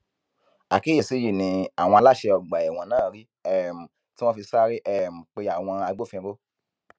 àkíyèsí yìí ni àwọn aláṣẹ ọgbà ẹwọn náà rí um tí wọn fi sáré um pe àwọn agbófinró